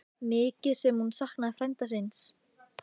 Mikið sem hún saknaði frænda síns.